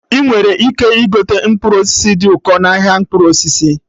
Ị nwere ike igote mkpụrụ osisi dị ụkọ n'ahịa mkpụrụ osisi